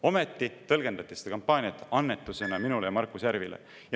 Ometi tõlgendati seda kampaaniat kui annetust minule ja Markus Järvile.